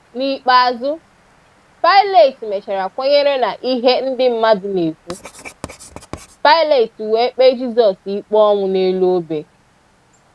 N’ikpeazụ, Pilat mechara kwenyere n’ihe ndị mmadụ na-ekwu, Pilat wee kpee Jisọs ikpe ọnwụ n’elu ọbẹ.